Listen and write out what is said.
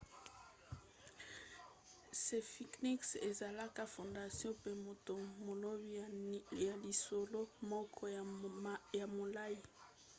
sphinx ezalala fondation pe moto molobi na lisolo moko ya molai